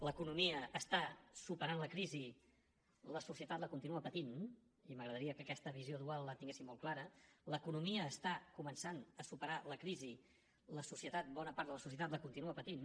l’economia està superant la crisi la societat la continua patint i m’agradaria que aquesta visió dual la tinguéssim molt clara l’economia està començant a superar la crisi la societat bona part de la societat la continua patint